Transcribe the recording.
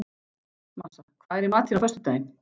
Marsa, hvað er í matinn á föstudaginn?